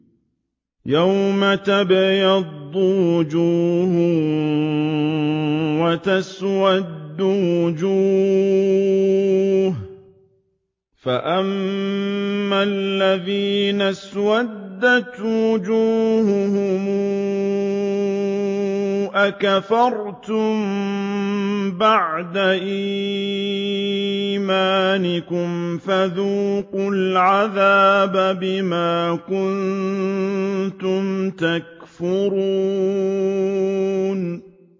يَوْمَ تَبْيَضُّ وُجُوهٌ وَتَسْوَدُّ وُجُوهٌ ۚ فَأَمَّا الَّذِينَ اسْوَدَّتْ وُجُوهُهُمْ أَكَفَرْتُم بَعْدَ إِيمَانِكُمْ فَذُوقُوا الْعَذَابَ بِمَا كُنتُمْ تَكْفُرُونَ